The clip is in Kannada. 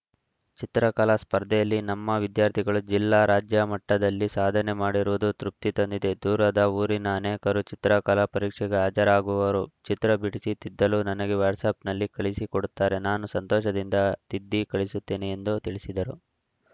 ಚಿತ್ರಕಲಾ ಸ್ಪರ್ಧೆಯಲ್ಲಿ ನಮ್ಮ ವಿದ್ಯಾರ್ಥಿಗಳು ಜಿಲ್ಲಾ ರಾಜ್ಯ ಮಟ್ಟದಲ್ಲಿ ಸಾಧನೆ ಮಾಡಿರುವುದು ತೃಪ್ತಿ ತಂದಿದೆ ದೂರದ ಊರಿನ ಅನೇಕರು ಚಿತ್ರಕಲಾ ಪರೀಕ್ಷೆಗೆ ಹಾಜರಾಗುವವರು ಚಿತ್ರ ಬಿಡಿಸಿ ತಿದ್ದಲು ನನಗೆ ವ್ಯಾಟ್ಸಪ್‌ನಲ್ಲಿ ಕಳಿಸಿ ಕೊಡುತ್ತಾರೆ ನಾನು ಸಂತೋಷದಿಂದ ತಿದ್ದಿ ಕಳಿಸುತ್ತೇನೆ ಎಂದು ತಿಳಿಸಿದರು